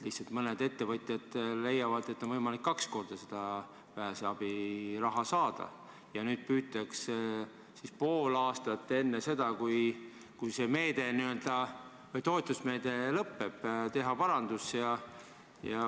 Lihtsalt mõned ettevõtjad leiavad, et seda vähese tähtsusega abi on võimalik saada kaks korda, ja nüüd püütakse pool aastat enne seda, kui toetusmeede lõpeb, teha parandus.